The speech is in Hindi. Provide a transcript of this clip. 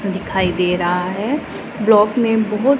दिखाई दे रहा है ब्लॉक में बहुत--